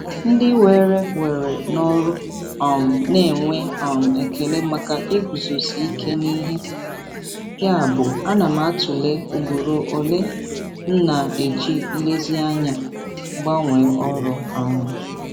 Ndị were were n'ọrụ um na-enwe um ekele maka iguzosi ike n'ihe, yabụ ana m atụle ugboro ole m na-eji nlezianya gbanwee ọrụ. um